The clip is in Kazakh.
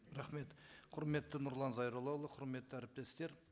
рахмет құрметті нұрлан зайроллаұлы құрметті әріптестер